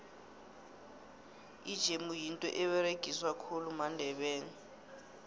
ijemu yinto eberegiswa khulu mandebele